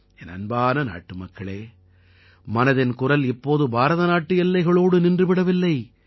என் அன்பான நாட்டுமக்களே மனதின்குரல் இப்போது பாரதநாட்டு எல்லைகளோடு நின்றுவிடவில்லை